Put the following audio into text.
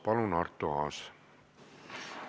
Palun, Arto Aas!